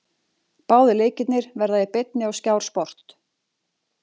Báðir leikirnir verða í beinni á Skjár Sport.